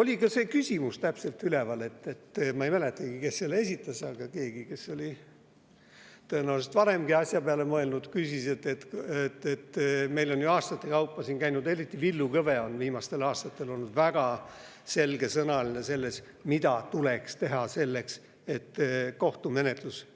Oli üleval ka see küsimus – ma ei mäletagi, kes selle esitas, aga keegi, kes oli tõenäoliselt varemgi asja peale mõelnud, küsis –, et meil on ju aastaid, eriti Villu Kõve on viimastel aastatel sellest väga selge sõnaga rääkinud, mida tuleks teha selleks, et kohtumenetlus